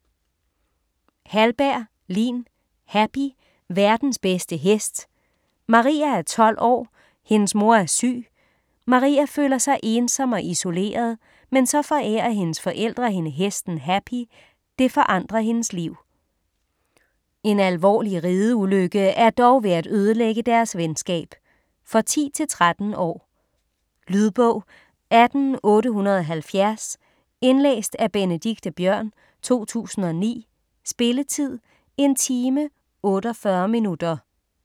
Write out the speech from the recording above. Hallberg, Lin: Happy - verdens bedste hest Maria er 12 år, hendes mor er syg. Maria føler sig ensom og isoleret, men så forærer hendes forældre hende hesten Happy, det forandrer hendes liv. En alvorlig rideulykke er dog ved at ødelægge deres venskab. For 10-13 år. Lydbog 18870 Indlæst af Benedikte Biørn, 2009. Spilletid: 1 time, 48 minutter.